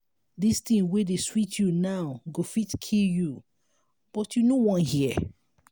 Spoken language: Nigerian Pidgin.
dis thing wey dey sweet you now go fit kill you but you no wan hear